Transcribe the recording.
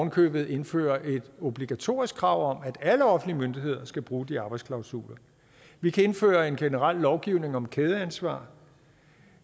i købet indføre et obligatorisk krav om at alle offentlige myndigheder skal bruge de arbejdsklausuler vi kan indføre en generel lovgivning om kædeansvar